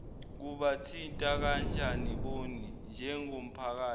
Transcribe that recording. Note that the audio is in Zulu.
kubathinta kanjanibona njengomphakathi